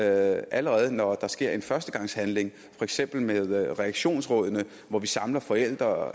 allerede når der sker en førstegangshandling for eksempel med reaktionsrådene hvor vi samler forældre og